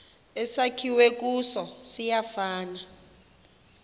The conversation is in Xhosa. esakhiwe kuso siyafana